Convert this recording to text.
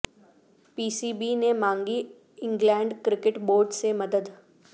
پی C B نے مانگی England cricket board سے مدد